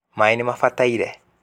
maĩ nĩ mabataire.